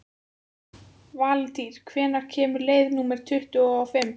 Valtýr, hvenær kemur leið númer tuttugu og fimm?